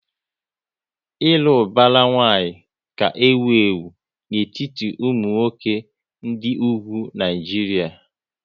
Ịlụ ubara nwanyi ka ewu ewu n'etiti ụmụ nwoke dị ugwu Naijiria